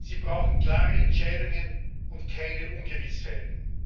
Sie brauchen klare Entscheidungen und keine Ungewissheiten.